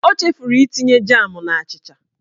O chefuru itinye jam n'achịcha